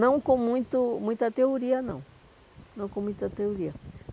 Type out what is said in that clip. Não com muito muita teoria, não. Não com muita teoria.